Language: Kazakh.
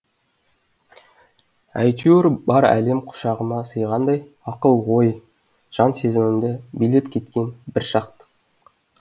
әйтеуір бар әлем құшағыма сыйғандай ақыл ой жан сезімімді билеп кеткен бір шаттық